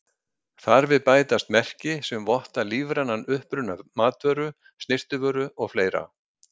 Þar við bætast merki sem votta lífrænan uppruna matvöru, snyrtivöru og fleira.